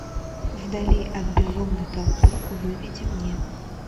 вдали от безумной толпы выведи мне